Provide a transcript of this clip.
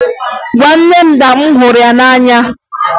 Gwa nne m na m hụrụ ya n'anya!